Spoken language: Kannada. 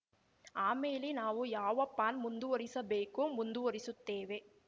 ಆಮೇಲೆ ನಾವು ಯಾವ ಪಾನ್‌ ಮುಂದುವರೆಸಬೇಕೋ ಮುಂದುವರೆಸುತ್ತೇವೆ